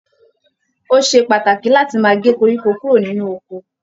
Ó ṣe pàtàkì láti máa gé koríko kúrò nínú oko.